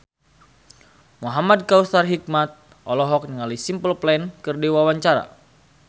Muhamad Kautsar Hikmat olohok ningali Simple Plan keur diwawancara